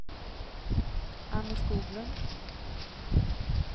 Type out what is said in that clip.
Anne Skoglund